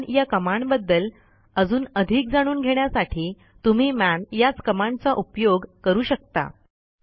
मन या कमांडबद्दल अजून अधिक जाणून घेण्यासाठी तुम्ही मन याच कमांडचा उपयोग करू शकता